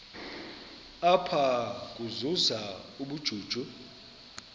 apha ukuzuza ubujuju